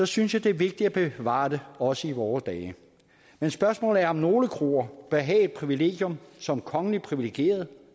synes jeg det er vigtigt at bevare dem også i vore dage men spørgsmålet er om nogle kroer bør have et privilegium som kongeligt privilegeret